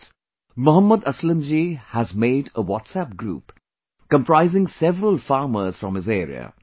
Friends, Mohammad Aslam Ji has made a Whatsapp group comprising several farmers from his area